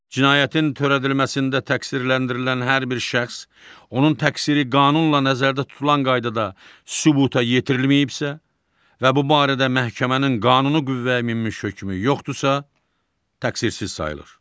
Cinayətin törədilməsində təqsirləndirilən hər bir şəxs, onun təqsiri qanunla nəzərdə tutulan qaydada sübuta yetirilməyibsə, və bu barədə məhkəmənin qanuni qüvvəyə minmiş hökmü yoxdursa, təqsirsiz sayılır.